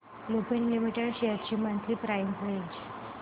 Lupin Limited shares ची monthly price range